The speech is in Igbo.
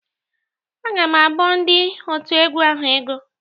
Agam abọọ ndị òtù egwu ahụ ego.